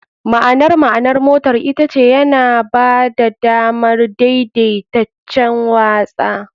. Ma'anar ma'anar motar ita ce "yana ba da damar daidaitaccen watsa.